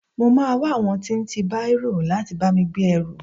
I mo máa wá àwọn tí ń tí bárò láti bá mi gbé ẹrù.